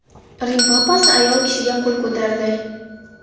Rim papasi ayol kishiga qo‘l ko‘tardi.